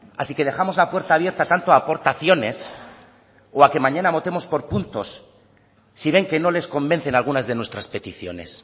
así que dejamos la puerta abierta tanto a aportaciones o a que mañana votemos por puntos si ven que no les convencen algunas de nuestras peticiones